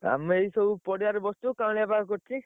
ଆମେ ଏଇ ସବୁ ପଡିଆରେ ବସିଚୁ କାଉଁଳିଆ ପାଗ କରିଛି